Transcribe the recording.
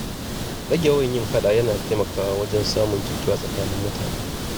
Rage yawan yin faɗa yana taimakawa wajen samun jituwa tsakanin mutane.